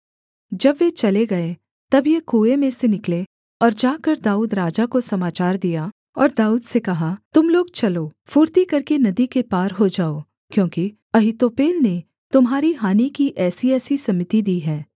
जब वे चले गए तब ये कुएँ में से निकले और जाकर दाऊद राजा को समाचार दिया और दाऊद से कहा तुम लोग चलो फुर्ती करके नदी के पार हो जाओ क्योंकि अहीतोपेल ने तुम्हारी हानि की ऐसीऐसी सम्मति दी है